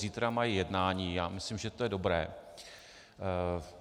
Zítra mají jednání, já myslím, že to je dobré.